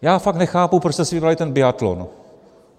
Já fakt nechápu, proč jste si vybrali ten biatlon.